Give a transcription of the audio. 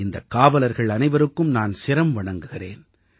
இந்தக் காவலர்கள் அனைவருக்கும் நான் சிரம் வணங்குகிறேன்